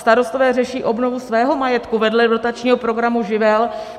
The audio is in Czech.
Starostové řeší obnovu svého majetku vedle dotačního programu Živel.